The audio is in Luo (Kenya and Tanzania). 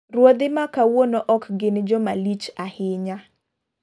Ruodhi makawuono ok gin joma lich ahinya .